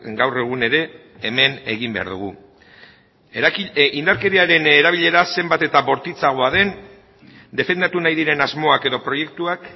gaur egun ere hemen egin behar dugu indarkeriaren erabilera zenbat eta bortitzagoa den defendatu nahi diren asmoak edo proiektuak